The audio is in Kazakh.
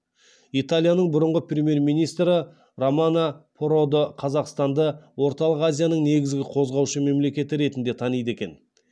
италияның бұрынғы премьер министрі романо продо қазақстанды орталық азияның негізгі қозғаушы мемлекеті ретінде таниды екен